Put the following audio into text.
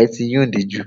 ẹ ti yúndì jù.